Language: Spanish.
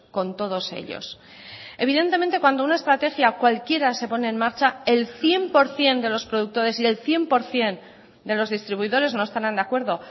con todos ellos evidentemente cuando una estrategia cualquiera se pone en marcha el cien por ciento de los productores y el cien por ciento de los distribuidores no estarán de acuerdo